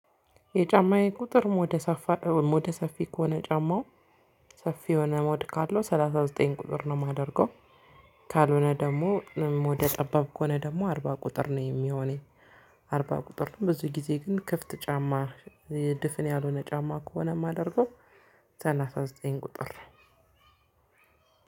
የጫማዬ ቁጥርም ሞደ ሰፋ ሞደ ሰፊ ከሆነ ጫማው ሰፊ የሆነ ሞድ ካለው ሰላሳ ዘጠኝ ቁጥር ነው የማደርገው። ካልሆነ ደሞ ሞደ ጠባብ ከሆነ ደሞ አርባ ቁጥር ነው የሚሆነኝ። አርባ ቁጥርም ብዙ ግዜ ግን ክፍት ጫማ ድፍን ያልሆነ ጫማ ከሆነ የማደርገው ሰላሳ ዘጠኝ ቁጥር ነው።